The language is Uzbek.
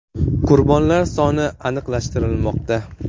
Qurbonlar soni aniqlashtirilmoqda.